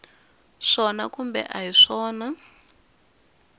swona kumbe a hi swona